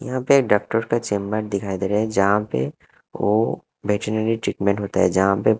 यहां पे डॉक्टर का चेंबर दिखाई दे रहा है यहाँ पे वो वेटरिनरी ट्रटमेंट होता है यहाँ पे--